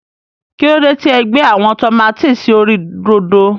kílódé tí e gbé àwọn tòmátì sí orí rodo.